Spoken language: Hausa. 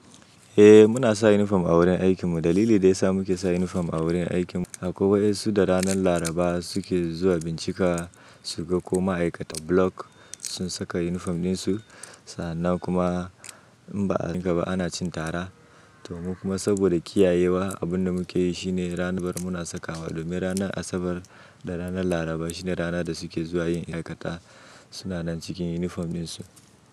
Eh muna sa uniform a wurin aikin mu. Dalili da ya sa muke sa uniform a wurin aikin mu akwai wasu da ranar Laraba suke zuwa bincika su ga ko ma'aikatan block sun saka uniform din su. Sannan kuma in ba a saka ba ana cin tara. To mu kuma saboda kiyayewa, abin da muke yi shine ranar Bar muna sakawa. Domin ranar Asabar da ranar Laraba shine rana da suke zuwa yin aikata. Su na nan cikin uniform din su.